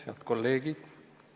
Head kolleegid!